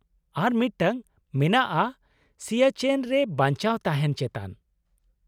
ᱟᱨ ᱢᱤᱫᱴᱟᱝ ᱢᱮᱱᱟᱜᱼᱟ ᱥᱤᱭᱟᱪᱮᱱ ᱨᱮ ᱵᱟᱧᱪᱟᱣ ᱛᱟᱦᱮᱱ ᱪᱮᱛᱟᱱ ᱾